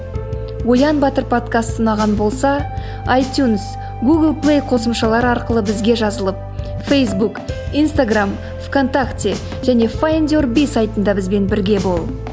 оян батыр подкасты ұнаған болса айтюнс гугл плей қосымшалар арқылы бізге жазылып фейсбук инстаграмм в контакте және файндюрби сайтында бізбен бірге бол